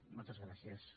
moltes gràcies